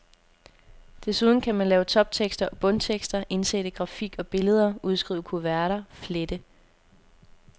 Desuden kan man lave toptekster og bundtekster, indsætte grafik og billeder, udskrive kuverter, flette.